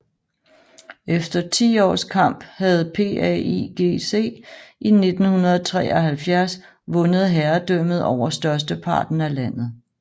Efter ti års kamp havde PAIGC i 1973 vundet herredømmet over størsteparten af landet